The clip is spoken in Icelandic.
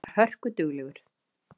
Hann var hörkuduglegur.